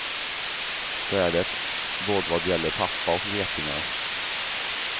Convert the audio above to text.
Så är det, både vad gäller pappa och getingar.